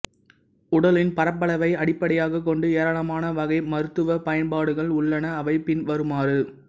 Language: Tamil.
உடலின் பரப்பளவை அடிப்படையாகக் கொண்டு ஏராளமான வகை மருத்துவப் பயன்பாடுகள் உள்ளன அவை பின்வருமாறு